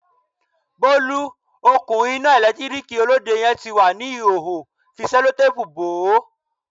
Bolu, òkun iná ẹ̀lẹ́tíríkì Olóde yẹn ti wà ní ìhòòhò, fi Sẹ́lótápùù bò ó.